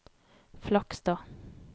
Flakstad